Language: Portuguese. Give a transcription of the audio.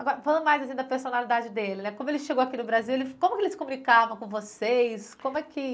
Agora, falando mais assim da personalidade dele né, como ele chegou aqui no Brasil, ele, como ele se comunicava com vocês? Como é que